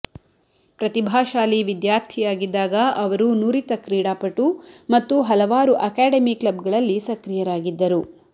ಪ್ರತಿಭಾಶಾಲಿ ವಿದ್ಯಾರ್ಥಿಯಾಗಿದ್ದಾಗ ಅವರು ನುರಿತ ಕ್ರೀಡಾಪಟು ಮತ್ತು ಹಲವಾರು ಅಕಾಡೆಮಿ ಕ್ಲಬ್ಗಳಲ್ಲಿ ಸಕ್ರಿಯರಾಗಿದ್ದರು